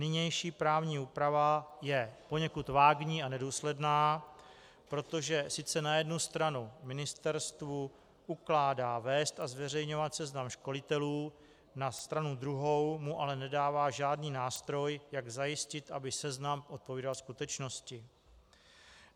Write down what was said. Nynější právní úprava je poněkud vágní a nedůsledná, protože sice na jednu stranu ministerstvu ukládá vést a zveřejňovat seznam školitelů, na stranu druhou mu ale nedává žádný nástroj, jak zajistit, aby seznam odpovídal skutečnosti.